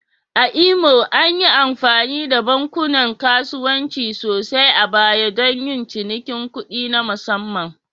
A Imo, an yi amfani da bankunan kasuwanci sosai a baya don yin cinikin kuɗi na musamman